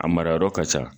A mara yɔrɔ ka ca